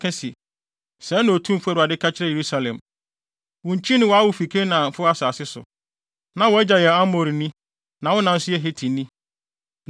na ka se, ‘Sɛɛ na Otumfo Awurade ka kyerɛ Yerusalem: Wo nkyi ne wʼawo fi Kanaanfo asase so; na wʼagya yɛ Amorini na wo na nso yɛ Hetini.